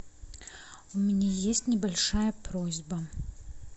у меня есть небольшая просьба